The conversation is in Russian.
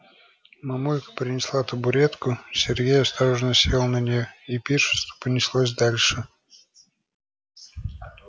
мамулька принесла табуретку сергей осторожно сел на неё и пиршество понеслось дальше